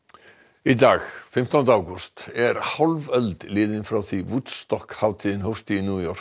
í dag fimmtánda ágúst er hálf öld liðin frá því hátíðin hófst í New York